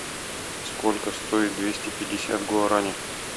сколько стоит двести пятьдесят гуарани